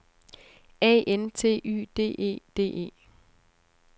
A N T Y D E D E